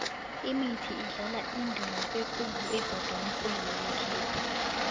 imithi idlala indima ekhulu ebhodulukweni lekhethu